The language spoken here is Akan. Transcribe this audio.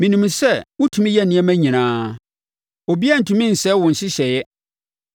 “Menim sɛ wotumi yɛ nneɛma nyinaa; obiara rentumi nsɛe wo nhyehyɛeɛ.